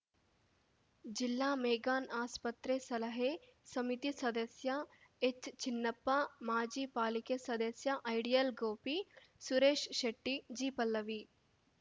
ಜಿಲ್ಲಾ ಮೆಗ್ಗಾನ್‌ ಆಸ್ಪತ್ರೆ ಸಲಹೆ ಸಮಿತಿ ಸದಸ್ಯ ಎಚ್ಚಿನ್ನಪ್ಪ ಮಾಜಿ ಪಾಲಿಕೆ ಸದಸ್ಯ ಐಡಿಯಲ್‌ ಗೋಪಿ ಸುರೆಶ್‌ ಶೆಟ್ಟಿ ಜಿಪಲ್ಲವಿ